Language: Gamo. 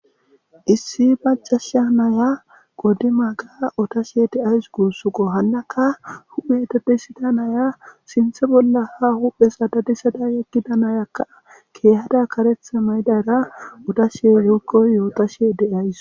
Issi macasha naya qoddi maaga otashe deays guussuqo hannaka hupheeteppe sida naya sinthe bolla ha huphe sadadisada yekida nayakka keehada karethe maydara utashe yookkoy yootashe de'ays.